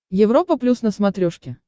европа плюс на смотрешке